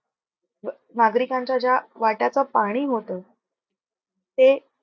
नागरिकांच्या ज्या वाट्याच पाणी होत. ते